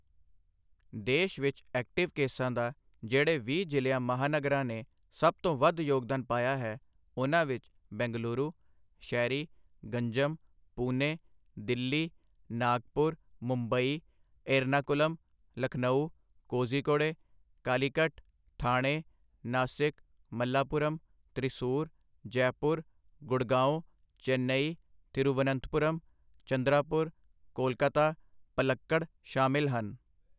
ਦੇਸ਼ ਵਿੱਚ ਐਕਟਿਵ ਕੇਸਾਂ ਦਾ ਜਿਹੜੇ ਵੀਹ ਜਿ਼ਲਿਆਂ ਮਹਾਨਗਰਾਂ ਨੇ ਸਭ ਤੋਂ ਵੱਧ ਯੋਗਦਾਨ ਪਾਇਆ ਹੈ, ਉਨ੍ਹਾਂ ਵਿੱਚ ਬੈਂਗਲੁਰੂ, ਸ਼ਹਿਰੀ, ਗੰਜਮ, ਪੂਨੇ, ਦਿੱਲੀ, ਨਾਗਪੁਰ, ਮੁੰਬਈ, ਇਰਨਾਕੁਲਮ, ਲਖਨਊ, ਕੋਚੀਕੋੜੇ ਕਾਲੀਕਟ, ਠਾਥੇ, ਨਾਸਿਕ, ਮੱਲਾਪੁਰਮ, ਤ੍ਰਿਸੂਰ, ਜੈਪੁਰ, ਗੁੜਗਾਂਓਂ, ਚੇੱਨਈ, ਥਿਰੁਵਨੰਤਪੁਰਮ, ਚੰਦਰਾਪੁਰ, ਕੋਲਕਾਤਾ, ਪਲੱਕੜ ਸ਼ਾਮਿਲ ਹਨ।